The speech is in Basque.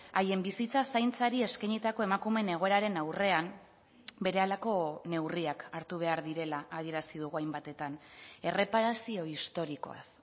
haien bizitza zaintzari eskainitako emakumeen egoeraren aurrean berehalako neurriak hartu behar direla adierazi dugu hainbatetan erreparazio historikoaz